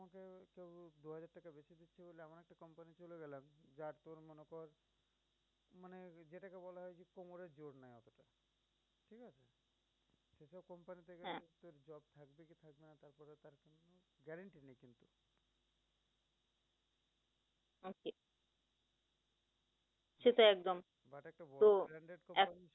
সেটাই একদম, তো এখন